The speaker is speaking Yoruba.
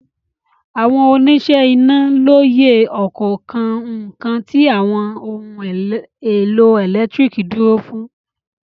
Àwọn oníṣẹ́ iná lóye ọ̀kọ̀ọ̀kan nǹkan tí àwọn ohun-èlò ẹ̀lẹ́tíríkì dúró fún.